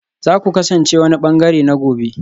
Za ku kasance wani ɓangare na gobe